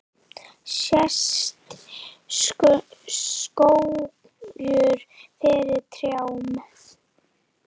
Sést skógur fyrir trjám?